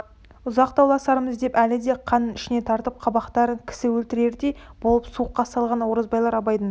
ұзақ дауласармыз деп әлі де қанын ішіне тартып қабақтарын кісі өлтірердей болып суыққа салған оразбайлар абайдың